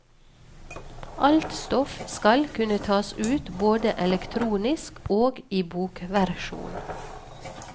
Alt stoff skal kunne tas ut både elektronisk og i bokversjon.